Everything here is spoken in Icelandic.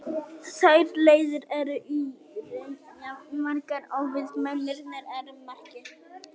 Þær leiðir eru í raun jafn margar og við mennirnir erum margir.